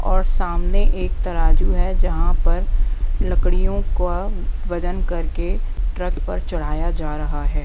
और सामने एक तराजू है जहां पर लकड़ियों का वजन करके ट्रक पर चढ़ाया जा रहा है।